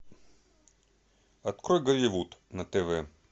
открой голливуд на тв